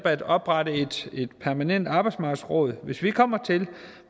at oprette et permanent arbejdsmarkedsråd hvis vi kommer til